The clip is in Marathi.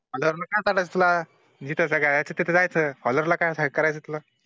honour ला का तरसला जिथं जगायचं तिथं जायचं honor ला काय करायचं तिथलं